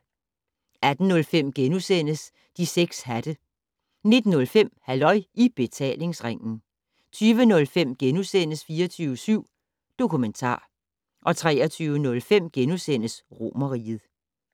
18:05: De 6 hatte * 19:05: Halløj I Betalingsringen 20:05: 24syv Dokumentar * 23:05: Romerriget *